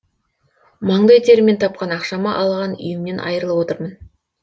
маңдай теріммен тапқан ақшама алған үйімнен айырылып отырмын